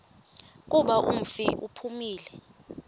kuba umfi uphumile